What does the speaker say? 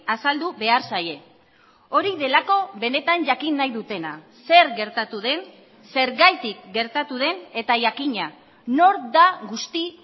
azaldu behar zaie hori delako benetan jakin nahi dutena zer gertatu den zergatik gertatu den eta jakina nor da guzti